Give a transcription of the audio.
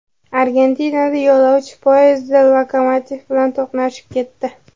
Argentinada yo‘lovchi poyezdi lokomotiv bilan to‘qnashib ketdi.